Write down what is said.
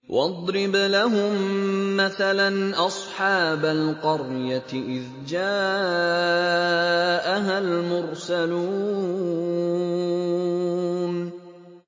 وَاضْرِبْ لَهُم مَّثَلًا أَصْحَابَ الْقَرْيَةِ إِذْ جَاءَهَا الْمُرْسَلُونَ